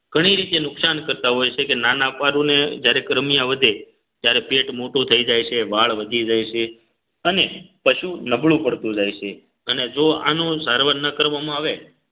ઘણી રીતે નુકસાન કરતા હોય છે કે નાના પારૂ ને જ્યારે કરમિયા વધે ત્યારે પેટ મોટું થઈ જાય છે વાળ વધી જાય છે અને પશુ નબળું પડતું જાય છે અને જો આનો સારવાર ન કરવામાં આવે